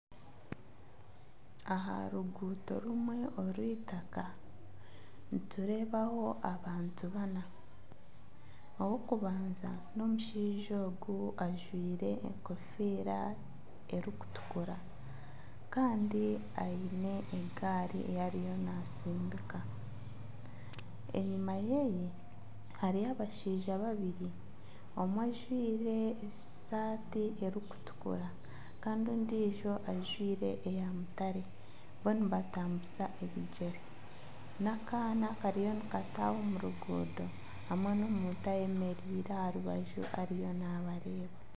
Aha ruguuto rumwe orwitaka nitureebaho abantu baana, ow'okubanza n'omushaija ogu ojwire enkofiira erikutukura kandi aine egaari ei ariyo naatsindika, enyima ye hariyo abashaija babiri omwe ajwire esaati erikutukura kandi ondiijo ajwire eya mutare bo nibatambuza ebigyere n'akaana kariyo nikataaha omu ruguuto hamwe n'omuntu ayemereire aha rubaju ariyo nabareeba